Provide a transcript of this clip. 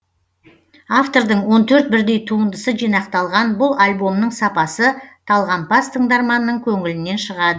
автордың он төрт бірдей туындысы жинақталған бұл альбомның сапасы талғампаз тыңдарманның көңілінен шығады